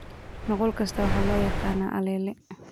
Nuqul kasta waxaa loo yaqaan allele.